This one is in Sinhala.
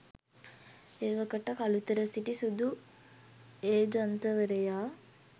එවකට කළුතර සිටි සුදු ඒජන්තවරයා